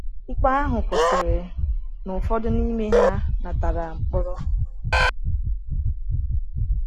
Ikpe ahụ kwụsịrị na ụfọdụ n’ime ha natara mkpọrọ.